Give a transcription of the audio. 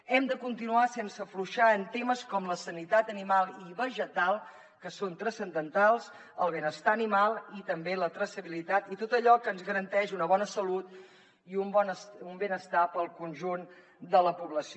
hem de continuar sense afluixar en temes com la sanitat animal i vegetal que són transcendentals el benestar animal i també la traçabilitat i tot allò que ens garanteix una bona salut i un benestar per al conjunt de la població